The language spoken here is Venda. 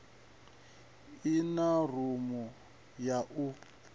i na rumu ya u